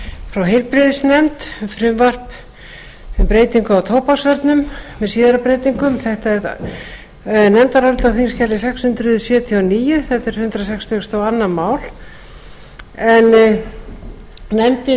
frá heilbrigðisnefnd frumvarp um breytingu á tóbaksvörnum með síðari breytingum þetta er nefndarálit á þingskjali sex hundruð sjötíu og níu hundrað sextugasta og önnur mál nefndin